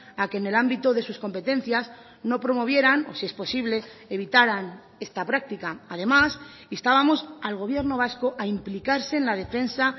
a que en el ámbito de sus competencias no promovieran o si es posible evitaran esta práctica además instábamos al gobierno vasco a implicarse en la defensa